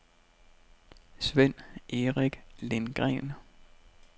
Svend-Erik Lindgren